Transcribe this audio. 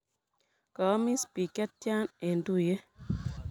Kaomis bik chetya eng tuiyet.